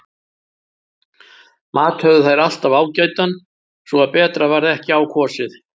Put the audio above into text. Mat höfðu þær alltaf ágætan svo að betra varð ekki á kosið.